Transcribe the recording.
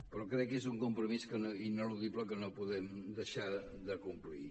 però crec que és un compromís ineludible que no podem deixar de complir